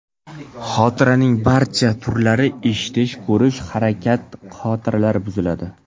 Xotiraning barcha turlari eshitish, ko‘rish va harakat xotiralari buziladi.